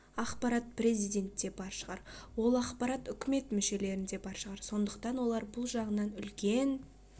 ақпарат президентте бар шығар ол ақпарат үкімет мүшелерінде бар шығар сондықтан олар бұл жағынан үлкен